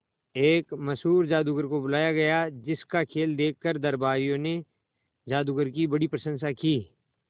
एक मशहूर जादूगर को बुलाया गया जिस का खेल देखकर दरबारियों ने जादूगर की बड़ी प्रशंसा की